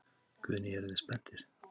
Guðný: Eruð þið spenntir?